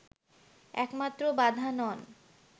একমাত্র বাধা নন”